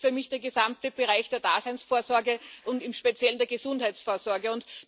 Das ist für mich der gesamte Bereich der Daseinsvorsorge und im Speziellen der Gesundheitsfürsorge.